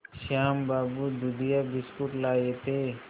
श्याम बाबू दूधिया बिस्कुट लाए थे